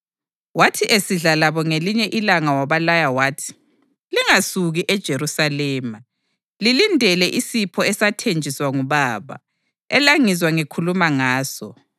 Wathi esidla labo ngelinye ilanga wabalaya wathi, “Lingasuki eJerusalema, lilindele isipho esathenjiswa nguBaba, elangizwa ngikhuluma ngaso.